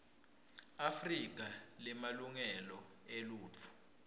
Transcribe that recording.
afrika lemalungelo eluntfu